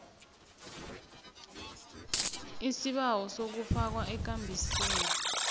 isibawo sokufakwa ekambisweni